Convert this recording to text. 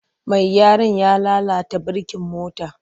Mai gyaran ya lalata birkin motar.